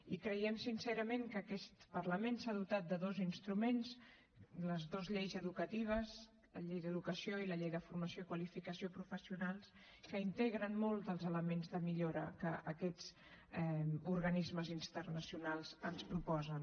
i creiem sincerament que aquest parlament s’ha dotat de dos instruments les dues lleis educatives la llei d’educació i la llei de formació i qualificació professionals que integren molts dels elements de millora que aquests organismes internacionals ens proposen